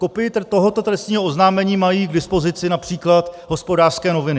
Kopii tohoto trestního oznámení mají k dispozici například Hospodářské noviny.